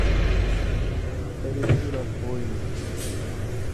старики разбойники